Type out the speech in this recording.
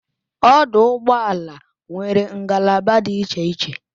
Ọdụ ụgbọala nwere ngalaba dị iche iche